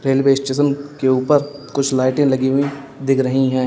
Railway station के ऊपर कुछ लाइटें लगी हुई दिख रही हैं।